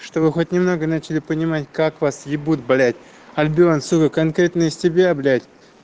чтобы хоть немного начали понимать как вас ебут блять альбион сука конкретно из тебя блять